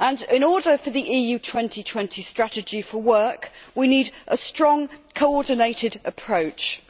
In order for the EU 2020 strategy to work, we need a strong, coordinated approach.